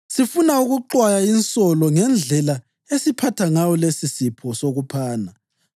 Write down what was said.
Sifuna ukuxwaya insolo ngendlela esiphatha ngayo lesisipho sokuphana.